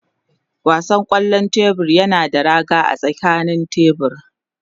Wasan kwallon tebur yana da raga a tsakanin tebur.